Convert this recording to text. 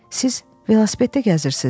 Siz velosipeddə gəzirsiz.